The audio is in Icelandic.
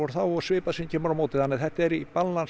þá og svipað sem kemur á móti þannig að þetta er í